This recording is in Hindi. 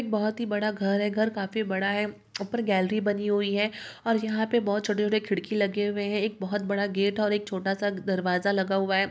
बहोत ही बड़ा घर है घर काफी बड़ा है उपर गैलरी बनी हुई है और यहा पे बोहोत छोटे छोटे खिड़की लगे हुए है एक बोहोत बड़ा गेट है और एक छोटा सा दरवाजा लगा हुआ है।